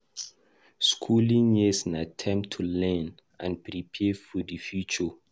Skooling years na time to learn and prepare for di future.